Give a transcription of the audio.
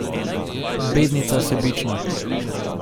Bednica sebična.